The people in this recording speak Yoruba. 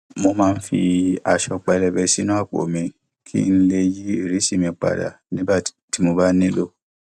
mo máa ń fi aṣọ pélébé sínú àpò mi kí n lè yí ìrísí mi padà tí mo bá nílò